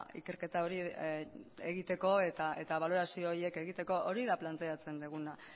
ikerketa hori egiteko eta balorazio horiek egiteko hori da planteatzen duguna